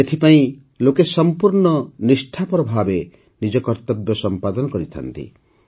ଏଥିପାଇଁ ଲୋକେ ସଂପୂର୍ଣ୍ଣ ନିଷ୍ଠାପର ଭାବେ ନିଜ କର୍ତ୍ତବ୍ୟ ପାଳନ କରିଥାନ୍ତି